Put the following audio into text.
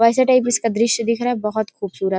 ऐसा टाइप दृश्य दिख रहा है बहोत खूबसूरत--